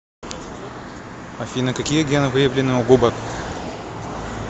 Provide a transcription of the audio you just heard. афина какие гены выявлены у губок